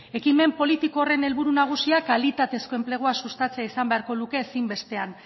ekimen politiko horren helburu nagusia kalitatezko enplegua sustatzea esan beharko luke ezinbestean